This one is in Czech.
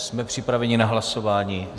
Jsme připraveni na hlasování.